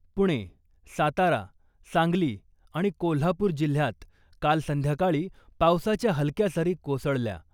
पुणे , सातारा , सांगली आणि कोल्हापूर जिल्ह्यात काल संध्याकाळी पावसाच्या हलक्या सरी कोसळल्या .